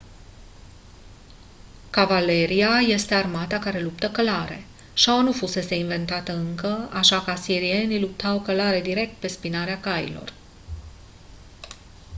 cavaleria este armata care luptă călare șaua nu fusese inventată încă așa că asirienii luptau călare direct pe spinarea cailor